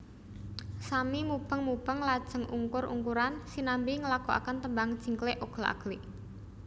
Sami mubeng mubeng lajeng ungkur ungkuran sinambi nglagokaken tembang jingklik oglak aglik